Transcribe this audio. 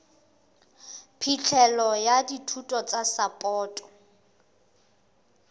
phihlelo ya dithuso tsa sapoto